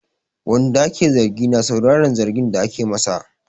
Wanda ake zargi na sauraran zargin da ake masa.